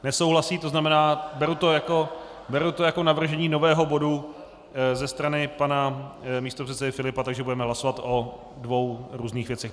Nesouhlasí, to znamená beru to jako navržení nového bodu ze strany pana místopředsedy Filipa, takže budeme hlasovat o dvou různých věcech.